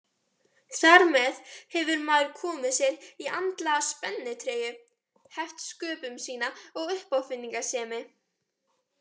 Þar með hefur maður komið sér í andlega spennitreyju, heft sköpun sína og uppáfinningasemi.